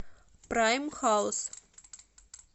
прайм хаус